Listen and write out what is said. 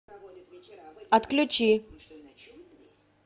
отключи